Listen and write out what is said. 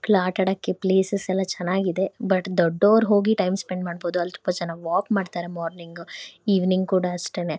ಆಟಾಡಕ್ಕೆ places ಎಲ್ಲಾ ಚೆನ್ನಾಗಿದೆ ಆಟ ಆಡಕ್ಕೆ ಬಟ್ ದೊಡ್ಡೋರ್ ಹೋಗಿ ಅಲ್ ಟೈಮ್ ಸ್ಪೆಂಡ್ ಮಾಡಬೋದು ಅಲ್ ತುಂಬಾ ಜನ ವಾಕ್ ಮಾಡ್ತಾರೆ ಮಾರ್ನಿಂಗು ಇವಿನಿಂಗ್ ಕೂಡ ಅಷ್ಟೇನೆ.